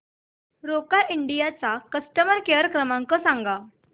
Roca India चा customer care क्रमांक सांगा